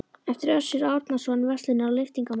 eftir Össur Árnason, verslunar- og lyftingamann.